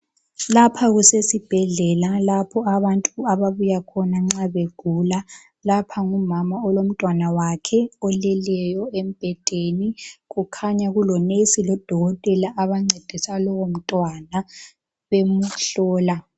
Lapha kusesibhedlela lapha okubuya khona abantu nxa begula ,lapha ngumama lomntanake omlalile embhedeni kulonesi lodokotela abancedisa lowo mntwana bemuhlola.